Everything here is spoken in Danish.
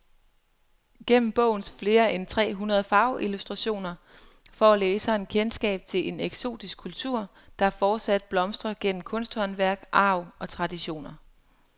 Gennem bogens flere end tre hundrede farveillustrationer får læseren kendskab til en eksotisk kultur, der fortsat blomstrer gennem kunsthåndværk, arv og traditioner.